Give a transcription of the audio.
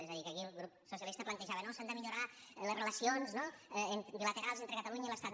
és a dir que aquí el grup socialista plantejava no s’han de millorar les relacions no bilaterals entre catalunya i l’estat